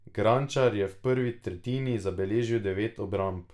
Gračnar je v prvi tretjini zabeležil devet obramb.